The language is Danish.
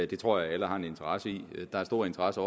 det tror jeg alle har en interesse i der er stor interesse